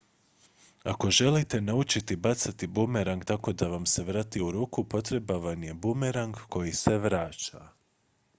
ako želite naučiti bacati bumerang tako da vam se vrati u ruku potreban vam je bumerang koji se vraća